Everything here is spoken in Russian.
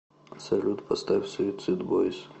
салют поставь суицидбойс